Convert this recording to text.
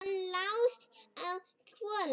Hann las í hljóði: